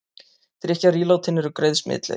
Drykkjarílátin eru greið smitleið